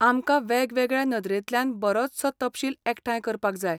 आमकां वेगवेगळ्या नदरेंतल्यान बरोसचो तपशील एकठांय करपाक जाय.